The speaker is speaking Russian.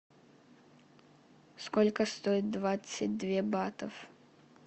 сколько стоит двадцать две батов